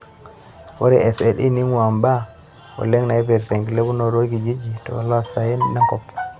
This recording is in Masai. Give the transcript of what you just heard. Ore SLE neingura mbaa oleng naipirta enkilepunoto orkijijini toolosaen lenkop.